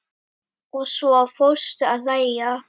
Og svo fórstu að hlæja.